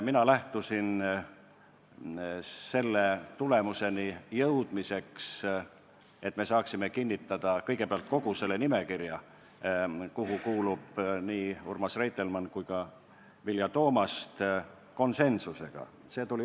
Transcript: Ma lähtusin sellest, et me saaksime kogu selle nimekirja, kuhu kuuluvad nii Urmas Reitelmann kui ka Vilja Toomast, kinnitada konsensuslikult.